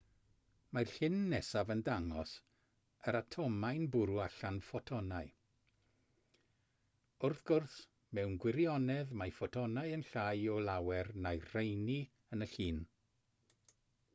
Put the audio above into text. mae'r llun nesaf yn dangos yr atomau'n bwrw allan ffotonau wrth gwrs mewn gwirionedd mae ffotonau yn llai o lawer na'r rheini yn y llun